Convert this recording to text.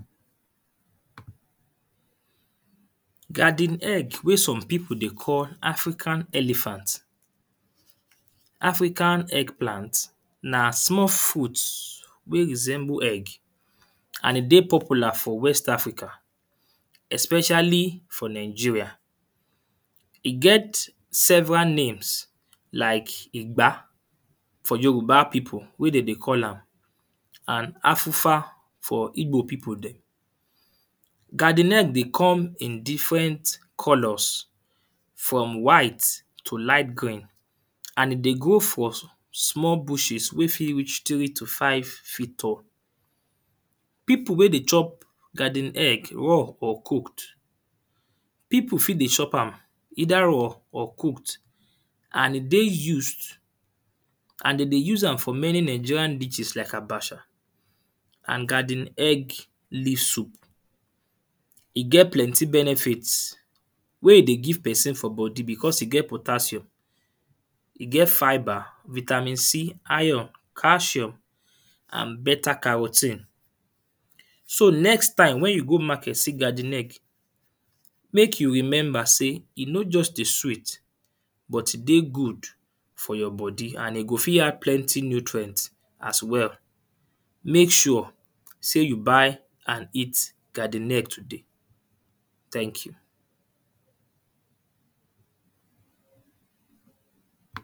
Garden egg wey some people dey call african elephant. African egg plant na small fruit wey resemble egg and e dey popular for west africa especially for Nigeria. E get several names like igba for yoruba people wey dem dey call am. And afufa for igbo people dem. Garden egg dey come in different colours. From white tio light green. And e dey grow for small bushes wey fit reach three to five feet tall. People wey dey chop garden egg raw or cooked. People fit dey chop am either raw or cooked and e dey used. And de dey use am for many Nigerian dishes like abacha and garden egg leaf soup. E get plenty benefit wey e dey give person for body because e get potassium. E get fibre, vitamin C, iron, calcium and better caro ten e. So next time when you go market see garden egg make you remember sey e no just dey sweet but e dey good for your body. And e go fit add plenty nutrient as well. Make sure sey you buy and eat garden egg today. Thank you.